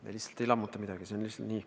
Me lihtsalt ei lammuta midagi – see on nii.